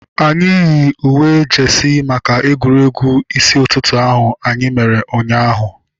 Anyị yiri uwe jeesi maka egwuregwu isi ụtụtụ ahu anyị mere ụnyaahụ